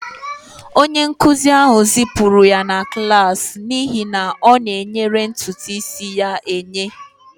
Onye nkụzi ahụ zipụrụ ya na klas n'ihi na ọ na-oyere ntutu isi ya eye